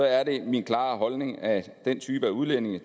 er det min klare holdning at den type udlændinge